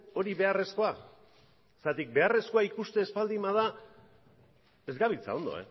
hori beharrezkoa zergatik beharrezkoa ikusten ez baldin bada ez gabiltza ondo